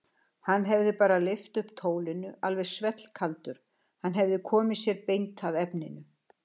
Hann hefði bara lyft upp tólinu alveg svellkaldur, hann hefði komið sér beint að efninu.